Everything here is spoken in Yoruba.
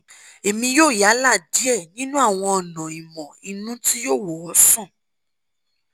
èmi yóò yálà díẹ̀ nínú àwọn ọ̀nà ìmọ̀ inú tí yóò wò ọ́ sàn